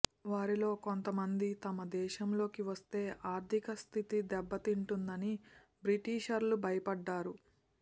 వారిలో కొంత మంది తమ దేశంలోకి వస్తే ఆర్థిక స్థితి దెబ్బ తింటుందని బ్రిటిషర్లు భయపడ్డారు